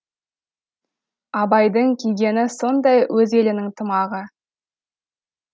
абайдың кигені сондай өз елінің тымағы